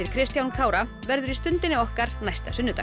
Kristján Kára verður í Stundinni okkar næsta sunnudag